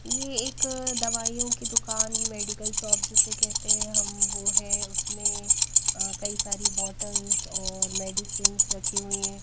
ये एक दवाइयों की दुकान मेडिकल शॉप जिसे कहते हैं हम वो है उसमें कई सारी बॉटल्स और मेडिसिंस रखी हुई हैं।